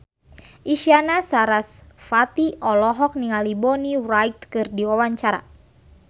Isyana Sarasvati olohok ningali Bonnie Wright keur diwawancara